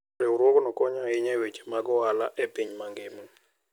Riwruogno konyo ahinya e weche mag ohala e piny mangima.